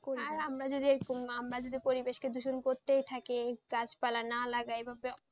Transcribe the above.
আর আমরা যদি পরিবেশকে দূষণ করতে থাকি গাছ পালা নাই লাগাই ভাববে